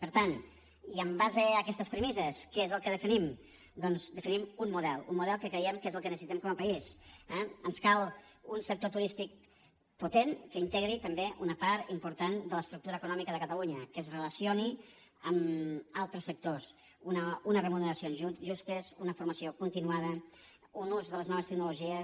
per tant i en base a aquestes premisses què és el que definim doncs definim un model un model que creiem que és el que necessitem com a país eh ens cal un sector turístic potent que integri també una part important de l’estructura econòmica de catalunya que es relacioni amb altres sectors una remuneració justa una formació continuada un ús de les noves tecnologies